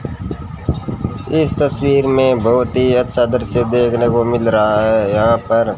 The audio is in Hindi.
इस तस्वीर में बहुत ही अच्छा दृश्य देखने को मिल रहा है यहां पर--